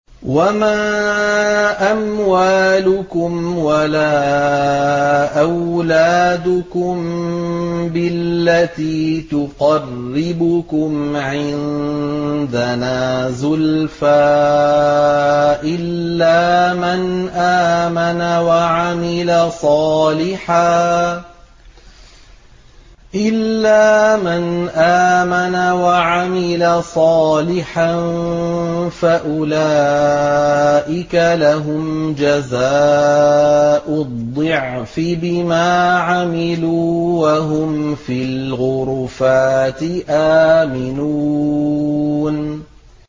وَمَا أَمْوَالُكُمْ وَلَا أَوْلَادُكُم بِالَّتِي تُقَرِّبُكُمْ عِندَنَا زُلْفَىٰ إِلَّا مَنْ آمَنَ وَعَمِلَ صَالِحًا فَأُولَٰئِكَ لَهُمْ جَزَاءُ الضِّعْفِ بِمَا عَمِلُوا وَهُمْ فِي الْغُرُفَاتِ آمِنُونَ